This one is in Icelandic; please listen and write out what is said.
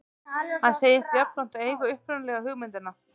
Hann segist jafnframt eiga upprunalegu hugmyndina